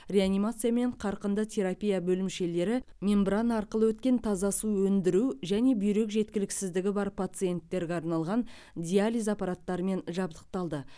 реанимация мен қарқынды терапия бөлімшелері мембрана арқылы өткен таза су өндіру және бүйрек жеткіліксіздігі бар пациенттерге арналған диализ аппараттарымен жабдықталды